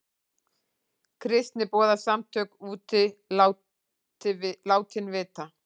Kristniboðssamtök úti látin vita